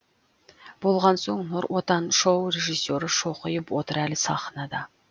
болған соң нұр отан шоу режиссері шоқиып отыр әлі сахнада